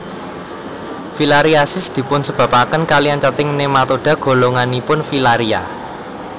Filariasis dipunsebabaken kalian cacing nematoda golonganipun filaria